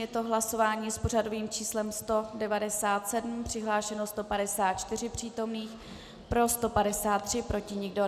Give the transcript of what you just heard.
Je to hlasování s pořadovým číslem 197, přihlášeno 154 přítomných, pro 153, proti nikdo.